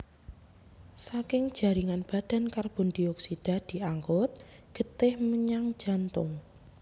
Saking jaringan badan karbondioksida diangkut getih menyang jantung